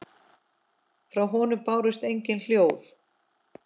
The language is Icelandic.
Frá honum bárust engin hljóð.